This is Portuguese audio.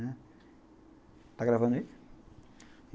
Está gravando aí?